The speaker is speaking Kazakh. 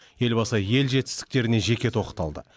елбасы ел жетістіктеріне жеке тоқталды